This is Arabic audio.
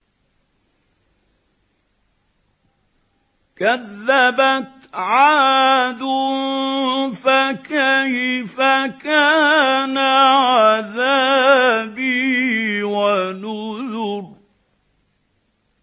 كَذَّبَتْ عَادٌ فَكَيْفَ كَانَ عَذَابِي وَنُذُرِ